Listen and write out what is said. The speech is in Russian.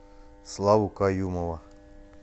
славу каюмова